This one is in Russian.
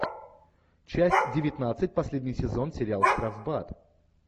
часть девятнадцать последний сезон сериал штрафбат